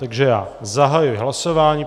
Takže já zahajuji hlasování.